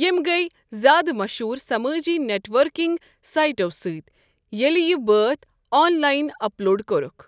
یِمہٕ گٔیہِ زیٛادٕ مَشہوٗر سمٲجی نیٚٹوٕرکِنٛک سائٹو سٕتی ییٚلہِ یہِ بٲتھ آنلائن اپلوڈ کُرُکھ۔